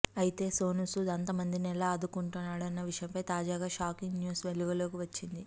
అయితే సోనూసూద్ అంతమందిని ఎలా ఆదుకున్నాడన్న విషయమై తాజాగా షాకింగ్ న్యూస్ వెలుగులోకి వచ్చింది